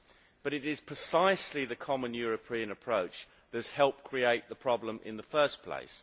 But it is precisely the common European approach that has helped create the problem in the first place.